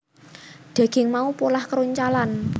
Daging mau polah kroncalan